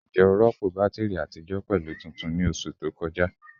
Njẹ o rọpo batiri atijọ pẹlu tuntun ni oṣu to kọja?